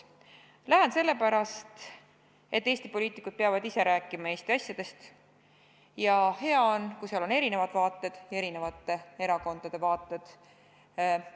Lähen sellepärast, et Eesti poliitikud peavad ise rääkima Eesti asjadest, ja hea on, kui seal on esindatud erinevad vaated, erinevate erakondade vaated.